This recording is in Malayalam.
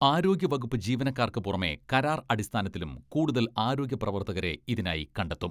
ആരോഗ്യവകുപ്പ് ജീവനക്കാർക്ക് പുറമെ കരാർ അടിസ്ഥാനത്തിലും കൂടുതൽ ആരോഗ്യ പ്രവർത്തകരെ ഇതിനായി കണ്ടെത്തും.